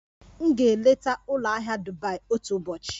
M ga-eleta ụlọ ahịa Dubai otu ụbọchị.